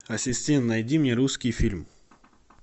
ассистент найди мне русский фильм